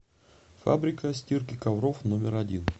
фабрика стирки ковров номер один